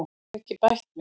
Ég hef ekki bætt mig.